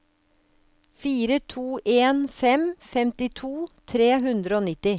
fire to en fem femtito tre hundre og nitti